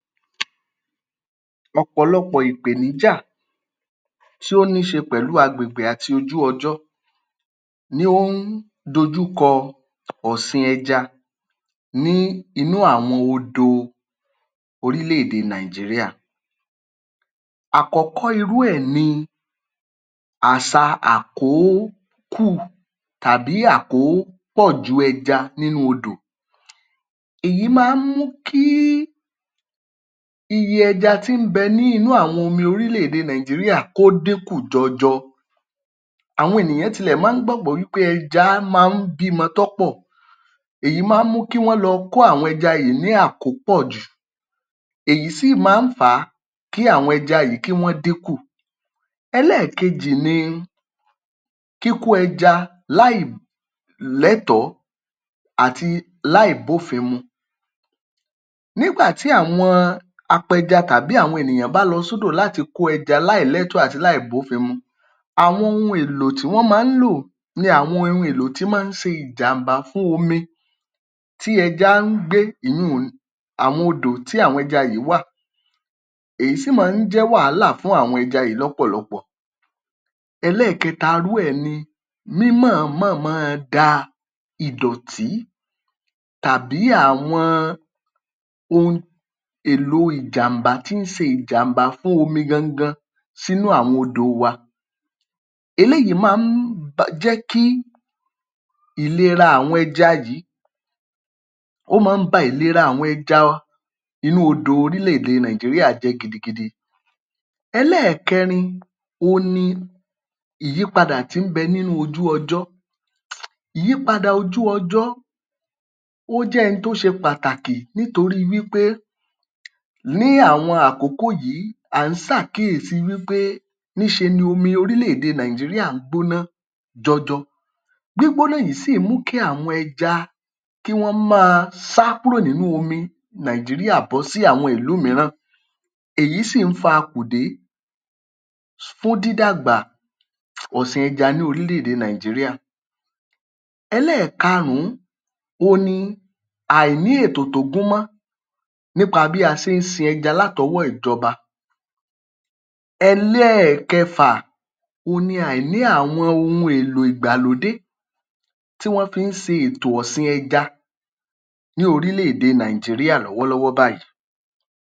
Ọ̀pọ̀lọpọ̀ ìpèníjà tó ní í ṣe pẹ̀lú agbègbè pàlú ojú-ọjọ́ ni ó ń dojúkọ ọ̀sìn ẹja ní inú àwọn odòo oríléèdè ilẹ̀ Nàìjíríà. Àkọ́kọ́ irú ẹ̀ ni àṣà àkókù tàbí àkópọ̀jù ẹja nínú odò. Èyí máa ń mú kí iye ẹja tí ń bẹ ní inú àwọn omi oríléèdè Nàìjíríà kó dínkù jọjọ. Àwọn ènìyàn tilẹ̀ máa ń gbàgbọ́ wí pé ẹja máa ń bímọ tọ́ pọ̀. Èyí máa ń mú kí wọ́n lọ kó àwọn ẹja yìí ní àkópọ̀jù. Èyí sì máa ń fà á kí àwọn ẹja yìí kí wọ́n dínkù. Ẹlẹ́ẹ̀kejì ni kíkó ẹja láìlẹ́tọ̀ọ́ àti láìbófin mu. Nígbà tí àwọn apẹja tàbí àwọn bá lọ s’ódò láti kó ẹja láìlẹ́tọ̀ọ́ àti láìbófin mu, àwọn ohun èlò tí wọ́n máa ń lò ni àwọn ohun èlò tí wọ́n ń ṣe ìjàm̀bá fún omi tí ẹja ń gbé ìyun-ùn àwọn odò tí àwọn ẹja wà. Èyí sì máa ń jẹ́ wàhálà fún àwọn ẹja yìí lọ́pọ̀lọpọ̀. Ẹlẹ́ẹ̀kẹta irú ẹ̀ ni mímọ̀-ọ́nmọ̀ máa da ìdọ̀tí tàbí àwọn ohun èlò ìjàm̀bá tí ń se ìjàm̀bá fún omi gan n gan sínú àwọn odò wà. Eléyìí máa ń jẹ́ kí ìlera àwọn ẹja yìí ó máa nh ba ìlera àwọn ẹja inú odò oríléèdè Nàìjíríà jẹ́ gidigidi. Ẹlẹ́ẹ̀kẹrin òhun ni ìyípadà tó ń bẹ nínú ojú-ọjọ́. Ìyípadà ojú-ọjọ́ ó jẹ́ ohun tó ṣe pàtàkì nítorí wí pé ní àwọn àkókò yìí à ń sàkíyèsí wí pé nih ṣe ni omi oríléèdè Nàìjíríà ń gbóná jọjọ. Gbígbóná yìí sì ń mú kí àwọn ẹja kí wọ́n máa sá kúrò nínú omi Nàìjíríà bọ́ sí àwọn ìlú mìíràn. Èyí sì ń fa akùdé fún dídàgbà ọ̀sìn ẹja ní oríléèdè Nàìjíríà. Ẹlẹ́ẹ̀karùn-ún àìní ètò tó mọ́ nípa bí a ṣe ń sin ẹja látọwọ́ ìjọba. Ẹlẹ́ẹ̀kẹfà àìní àwọn ohun èlò ìgbàlódé tí wọ́n fi ń ṣe ètò ọ̀sìn ẹja ní oríléèdè Nàìjíríà lọ́wọ́ báyìí.